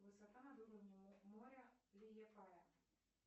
высота над уровнем моря лиепая